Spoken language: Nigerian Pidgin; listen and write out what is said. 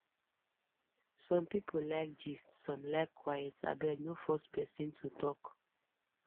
some people like gist some like quiet abeg no force pesin to talk